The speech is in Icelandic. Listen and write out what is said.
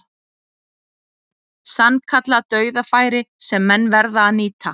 Sannkallað dauðafæri sem menn verða að nýta.